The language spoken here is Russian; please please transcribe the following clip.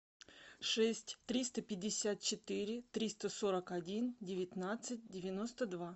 шесть триста пятьдесят четыре триста сорок один девятнадцать девяносто два